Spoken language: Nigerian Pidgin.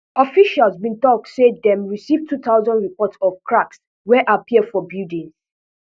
officials bin tok say dem receive two thousand reports of cracks wey appear for buildings